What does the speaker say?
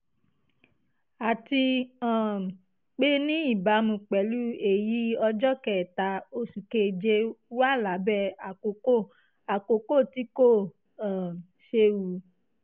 àti um pé ní ìbámu pẹ̀lú èyí ọjọ́ kẹta oṣù keje wà lábẹ́ àkókò àkókò tí kò um séwu